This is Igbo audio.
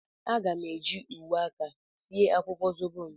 A ga m eji uwe aka sie akwukwo zobo m.